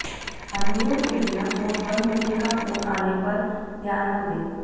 अनुरोध के बिना फ़ोन बंद होने का फोन आने पर ध्यान न दे